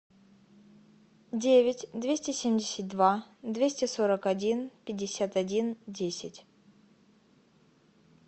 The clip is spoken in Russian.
девять двести семьдесят два двести сорок один пятьдесят один десять